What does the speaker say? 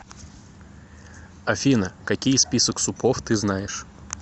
афина какие список супов ты знаешь